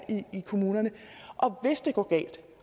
i kommunerne og hvis det går galt